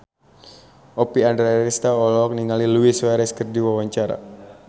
Oppie Andaresta olohok ningali Luis Suarez keur diwawancara